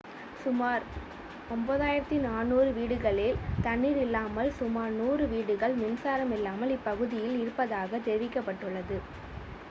சுமார் 9400 வீடுகளில் தண்ணீர் இல்லாமல் சுமார் 100 வீடுகள் மின்சாரம் இல்லாமல் இப்பகுதியில் இருப்பதாக தெரிவிக்கப்பட்டுள்ளது